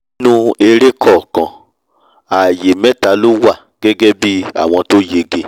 nínú eré kọ̀ọ̀kan àyè mẹ́ta ló wà gẹ́gẹ́ bí àwọn tó yege